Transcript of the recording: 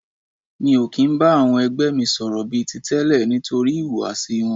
Mi ò kì ń bá àwọn ẹgbẹ́ mi sọ̀rọ̀ bí i ti tẹ́lẹ̀ nítorí ìhùwàsí wọn.